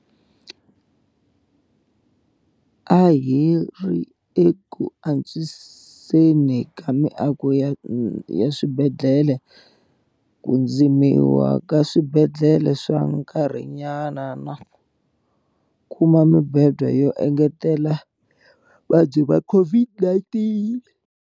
A hi ri eku antswiseni ka miako ya swibedhlele, ku dzimiwa ka swibedhlele swa nkarhinyana na ku kuma mibedwa yo engetela ya vavabyi va COVID-19.